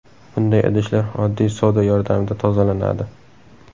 Bunday idishlar oddiy soda yordamida tozalanadi.